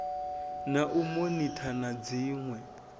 na u monitha na dziṋwe